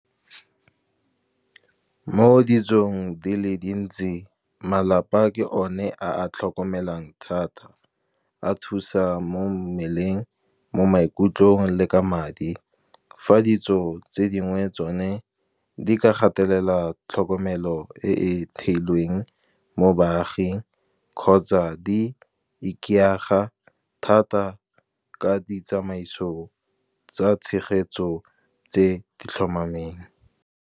Mo ditsong di le dintsi malapa ke o ne a tlhokomelang thata, a thusa mo mmeleng mo maikutlong le ka madi. Fa ditso tse dingwe tsone di ka gatelela tlhokomelo e e theilweng mo baaging, kgotsa di ikaega thata ka ditsamaiso tsa tshegetso tse di tlhomameng.